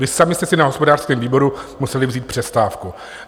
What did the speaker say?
Vy sami jste si na hospodářském výboru museli vzít přestávku.